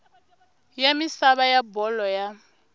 ya misava ya bolo ya